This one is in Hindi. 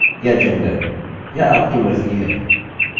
आप उनमें से कोई भी इस्तेमाल कर सकते हैं उदाहरणस्वरुप ढूँढने के लिए आपकी जन्मतिथि या gender